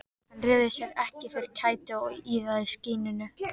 Hann réði sér ekki fyrir kæti og iðaði í skinninu.